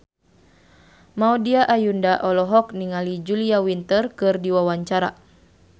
Maudy Ayunda olohok ningali Julia Winter keur diwawancara